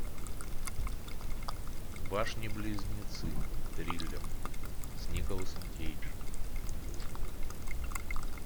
башни близнецы триллер с николасом кейджем